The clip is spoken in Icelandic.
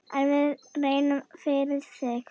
En við reynum, fyrir þig.